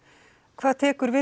hvað tekur við